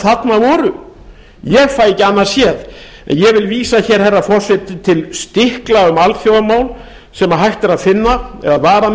þarna voru ég fæ ekki annað séð en ég vil vísa herra forseti til stikla um alþjóðamál sem hægt er að finna eða var að